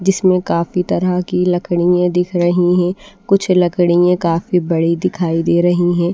जिसमें काफी तरह की लकड़ियां दिख रही हैं कुछ लकड़ियां काफी बड़ी दिखाई दे रही हैं।